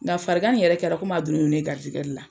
Nga farigan nin yɛrɛ kɛra a donnen don ne garijɛgɛ de la.